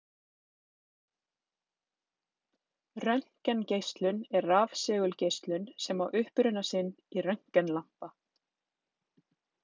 Röntgengeislun er rafsegulgeislun sem á uppruna sinn í röntgenlampa.